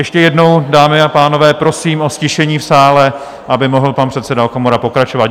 Ještě jednou, dámy a pánové, prosím o ztišení v sále, aby mohl pan předseda Okamura pokračovat.